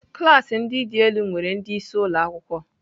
Klas ndị dị elu nwere ndị isi ụlọ akwụkwọ.